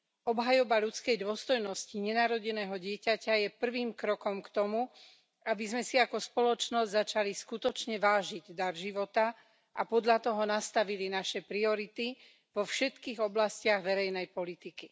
Obhajoba ľudskej dôstojnosti nenarodeného dieťaťa je prvým krokom k tomu, aby sme si ako spoločnosť začali skutočne vážiť dar života a podľa toho nastavili naše priority vo všetkých oblastiach verejnej politiky.